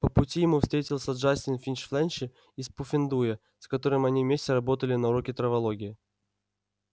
по пути ему встретился джастин финч-фленчи из пуффендуя с которым они вместе работали на уроке травологии